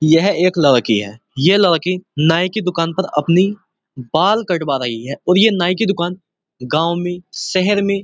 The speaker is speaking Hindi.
यह एक लड़की है। ये लड़की नाइ की दुकान पर अपनी बाल कटवा रही है और ये नाइ की दुकान गांव में शहर में --